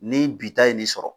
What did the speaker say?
Ni bi ta ye nin sɔrɔ.